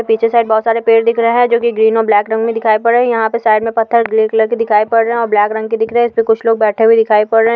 पीछे साइड बहुत सारे पेड़ दिख रहे है जो की ग्रीन और ब्लैक रंग में दिखाई पड रहे यहाँ पे साइड के पत्थर अ ग्रे कलर के दिखाई पड रहे है और ब्लैक रंग के दिख रहे है इसपे कुछ लोग बैठे हुए दिखाई पड रहे है।